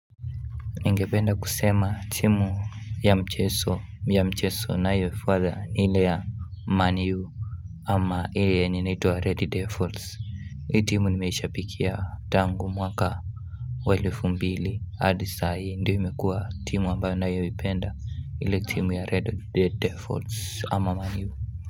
Ningependa kusema timu ya mchezo, ya mchezo ninayoifuata ni ile ya Man U ama ile yenye inaitwa Red Devils Hii timu nimeishabiki ya tangu mwaka wa elfu mbili hadi sai ndiyo imekuwa timu ambayo nayoipenda ile timu ya Red Devils ama Man U.